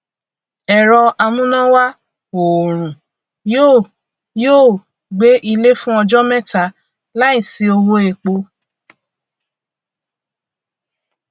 ẹrọamúnáwá òòrùn yóò yóò gbé ilé fún ọjọ mẹta láìsí owó epo